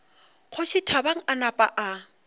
kgoši thabang a napa a